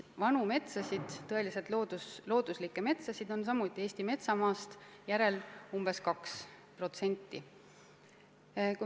Vanu metsasid, tõeliselt looduslikke metsasid on samuti väga vähe, need moodustavad Eesti metsamaast umbes 2%.